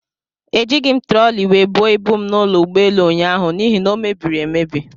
Ejighi m trọli wee buo ibu m n'ụlọ ugboelu ụnyaahụ n'ihi na o mebiri emebi.